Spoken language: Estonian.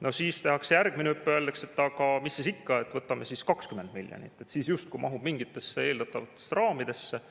No siis tehakse järgmine hüpe ja öeldakse, et aga mis siis ikka, võtame siis 20 miljonit, siis justkui mahub mingitesse eeldatavatesse raamidesse.